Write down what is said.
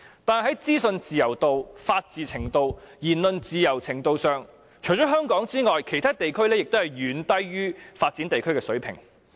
但是，在資訊自由度、法治程度、言論自由程度方面，除香港外，其他地區皆遠低於發展地區的水平。